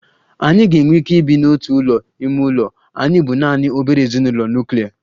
Anyị ga-enwe ike ibi n'otu ụlọ ime ụlọ, anyị bụ naanị obere ezinụlọ nuklia